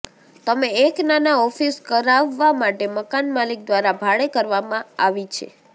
તમે એક નાના ઓફિસ કરાવવા માટે મકાન માલિક દ્વારા ભાડે કરવામાં આવી છે